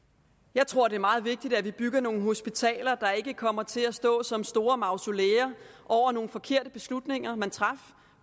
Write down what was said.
jeg tror det er meget vigtigt at vi bygger nogle hospitaler der ikke kommer til at stå som store mausoleer over nogle forkerte beslutninger man traf